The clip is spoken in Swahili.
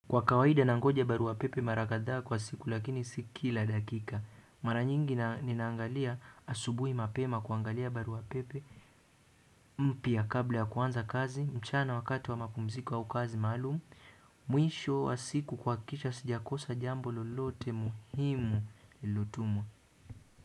Kwa kawaida nangoja barua pepe mara kadhaa kwa siku lakini si kila dakika. Mara nyingi ninaangalia asubuhi mapema kuangalia barua pepe mpya kabla ya kuanza kazi mchana wakati wa mapumziko au kazi maalumu mwisho wa siku kuhakikisha sijakosa jambo lolote muhimu lililo tumwa.